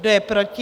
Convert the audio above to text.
Kdo je proti?